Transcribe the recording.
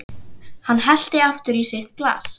Hann hellti aftur í sitt glas.